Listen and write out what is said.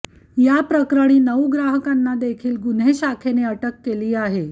याप्रकरणी नऊ ग्राहकांना देखील गुन्हे शाखेने अटक केली आहे